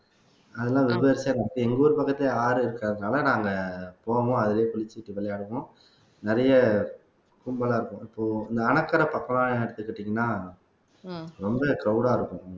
அதெல்லாம் எங்க ஊர் பக்கத்துலயே ஆறு இருக்கிறதுனால நாங்க போனோம் அதுவே குளிச்சிட்டு விளையாடுவோம் நிறைய கும்பலா இருக்கும் இப்போ இந்த அணைக்கரை பக்கம்லாம் எடுத்துக்கிட்டீங்கன்னா ரொம்பவே crowd ஆ இருக்கும்